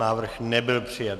Návrh nebyl přijat.